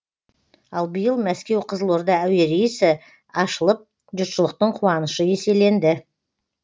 ал биыл мәскеу қызылорда әуе рейсі ашылып жұртшылықтың қуанышы еселенді